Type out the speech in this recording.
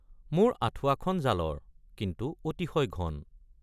মোৰ আঠুৱাখন জালৰ কিন্তু অতিশয় ঘন।